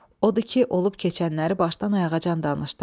Odur ki, olub keçənləri başdan ayağacan danışdım.